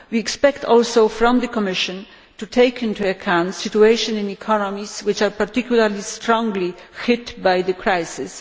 We also expect the Commission to take into account the situation in economies which are particularly strongly hit by the crisis.